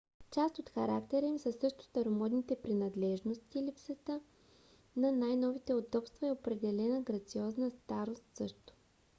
част от характера им са също старомодните принадлежности липсата на най-новите удобства и определена грациозна старост също